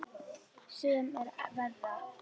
Sem er verra.